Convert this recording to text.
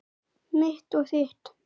Mitt og þitt.